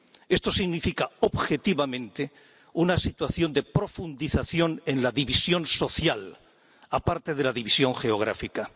Esto significa objetivamente una situación de profundización en la división social, aparte de la división geográfica.